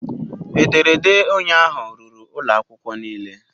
Ederede ụnyaahụ ruru ụlọ akwụkwọ niile